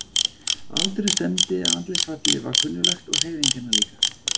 Aldurinn stemmdi, andlitsfallið var kunnuglegt og hreyfingarnar líka.